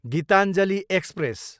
Geetanjali express